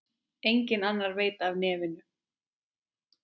Enginn annar veit af nefinu.